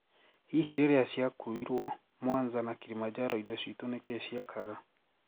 Hihi, riria ciakuikrwo Mwanza na Kilimanjaro indo citu nikii ciekaga?